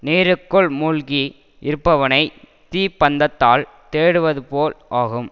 நீருக்குள் மூழ்கி இருப்பவனைத் தீப்பந்தத்தால் தேடுவதுபோல் ஆகும்